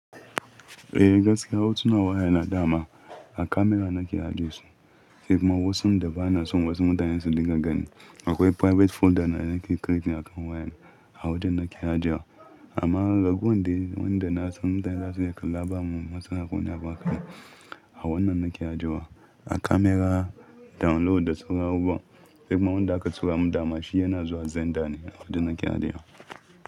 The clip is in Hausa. Eh gaskiya hotunan wayana dama a kamara nake haɗesu, sai kuma wasun da ba na son wasu mutanen su dinga ganin akwai private folder na, na ke create a kan wayana a wajen nake ajewa. Amma raguwan dai wanda na san mutane zasu Iya kalla ba mu matsala kowane Abu haka buƙata a wannan nake ajewa a kamara download da suka hau ba sai kuma wanda aka tura mu dama shi yana zuwa xender ne a wajen nake haɗewa.